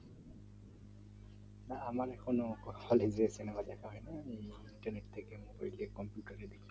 হ্যাঁ আমার এখনো Hale সিনেমা দেখা হয় নি আমি internet থেকে না তো computer থেকে